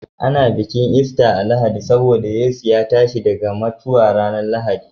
Ana bikin Easter a'Lahadi saboda Yesu ya tashi daga mata ranan Lahadi.